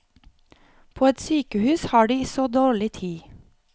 På et sykehus har de så dårlig tid.